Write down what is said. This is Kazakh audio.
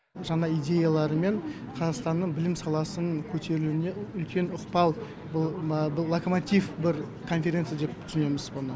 жаңа идеяларымен қазақстанның білім саласының көтерілуіне үлкен ықпал бұл локомотив бір конференция деп түсінеміз бұны